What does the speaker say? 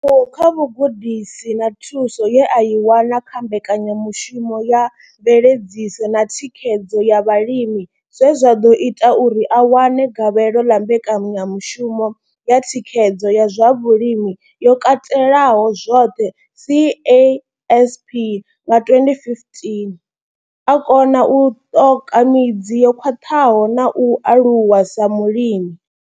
Ndivhuwo kha vhugudisi na thuso ye a i wana kha mbekanyamushumo ya mveledziso na thikhedzo ya vhalimi zwe zwa ḓo ita uri a wane gavhelo ḽa mbekanyamushumo ya thikhedzo ya zwa vhulimi yo katelaho zwoṱhe CASP nga 2015, o kona u ṱoka midzi yo khwaṱhaho na u aluwa sa mulimi.